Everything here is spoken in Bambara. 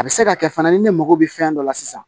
A bɛ se ka kɛ fana ni ne mago bɛ fɛn dɔ la sisan